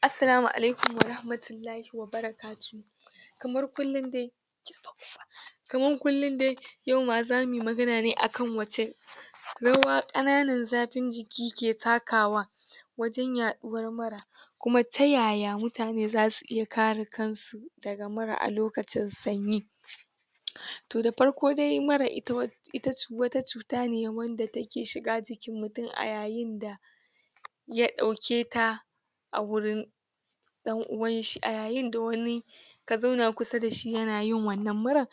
assalamu ailaikum warahmatullahi wabarakatuhu kamar kullum dai kamar kullum dai yau ma zamuyi magana ne akan wacce rawa ƙananan zafin jiki ke takawa wajen yaɗuwar mura kuma ta yaya mutane zasu iya kare kansu daga mura a lokacin sanyi to da farko dai mura ita ita wata cuta ne wanda take shiga jikin mutum a yayinda ita wata cuta ne wanda ya ɗauketa a gurin ɗan uwan shi a yayinda wani ka zauna a kusa dashi yana yin wannan murar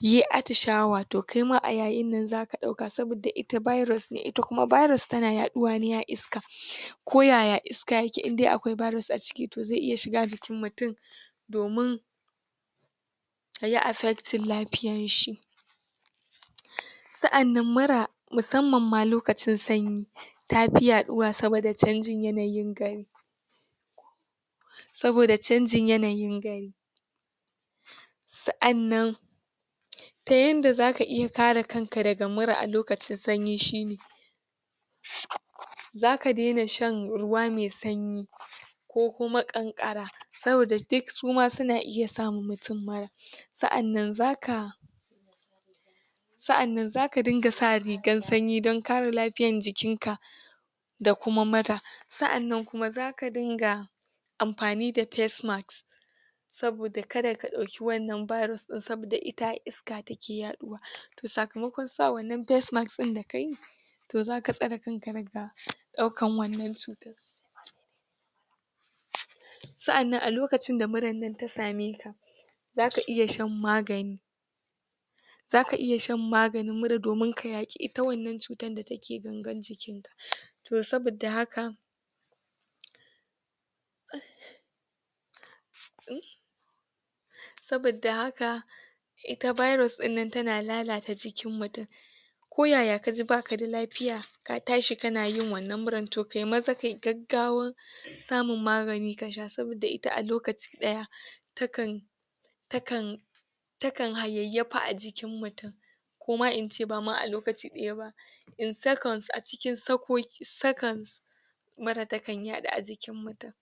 yai atishawa to kaima a yayinnan zaka ɗauka sabidda ita virus ne, ita kuma virus tana yaɗuwa ne a iska ko yaya iska yake indai akwai virus a ciki to ze iya shiga jikin mutum domin ya affecting lafiyar shi saʼannan mura musamman ma lokacin sanyi tafi yaɗuwa sabidda canjin yanayin gari sabidda canjin yanayin gari saʼannan yanda zaka kare kanka daga mura lokacin sanyi shine zaka daina shan ruwa me sanyi ko kuma ƙanƙara sabidda duk suma suna iya sama mutummura, saʼannan zaka saʼannan zaka ringa sa rigar sanyi don kare lafiyar jikin ka da kuma mura saʼannan kuma zaka ringa amfani da face macks saboda kada kaɗauki wannan virus din, saboda ita a iska take yaɗuwa to sakamakon sa wannan face mask din da kayi to zaka tsare kanka daga daukar wannan cuta saʼannan a lokacin da murar nan ta same ka zaka iya shan magani zaka iya shan maganin mura domin ka yaƙi ita wannan cutar da take gangar jikin ka to sabidda haka sabidda haka ita virus ɗinnnan tana lalata jikin mutum ko yaya kaji baka da lafiya ka tashi kana yin wannan muran ya maza ke gaggawan samun magani kasha sabidda ita alokaci ɗaya takan takan takan hayayyafa a jikin mutum koma ince bama a lokaci ɗaya ba in seconds a cikin sakan mura takan yaɗu a jikin mutum.